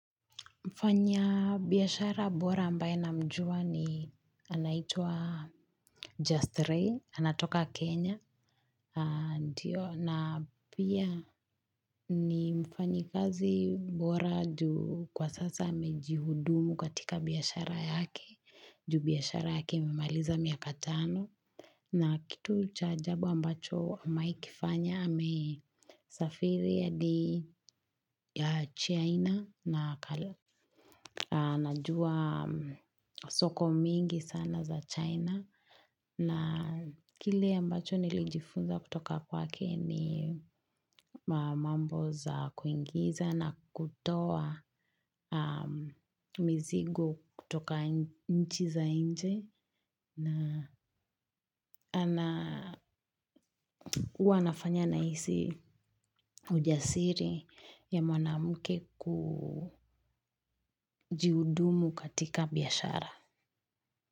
Mfanyabiashara bora ambaye namjua ni anaitwa Just Ray, anatoka Kenya. Ndiyo, na pia ni mfanyikazi bora juu kwa sasa amejihudumu katika biashara yake. Juu biashara yake imemaliza miaka tano. Na kitu cha ajabu ambacho ameaikifanya amesafiri adi ya China na kala. Anajua soko mingi sana za China na kile ambacho nilijifunza kutoka kwake ni mambo za kuingiza na kutoa mizigo kutoka nchi za inje na wanafanya nahisi ujasiri ya mwanamke kujiudumu katika biashara.